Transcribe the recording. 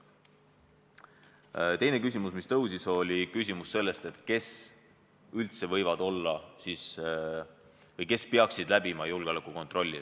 Teine küsimus, mis tõstatud, oli see, kes üldse võivad olla või kes peaksid läbima julgeolekukontrolli.